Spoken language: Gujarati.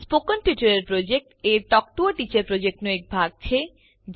સ્પોકન ટ્યુટોરિયલ પ્રોજેક્ટ એ ટોક ટુ અ ટીચર પ્રોજેક્ટનો એક ભાગ છે